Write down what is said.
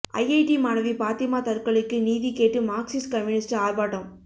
IIT மாணவி பாத்திமா தற்கொலைக்கு நீதி கேட்டு மார்க்சிஸ்ட் கம்யூனிஸ்ட் ஆர்ப்பாட்டம்